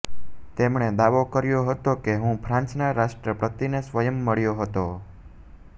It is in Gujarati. તેમણે દાવો કર્યો હતો કે હું ફ્રાંસના રાષ્ટ્રપતિને સ્વયં મળ્યો હતો